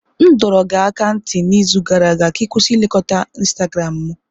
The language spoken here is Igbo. M dọrọ gị aka ná ntị n'izu gara aga ka ị kwụsị nlekota Instagramu m!